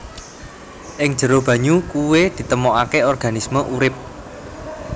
Ing jero banyu kuwé ditemokaké organisme urip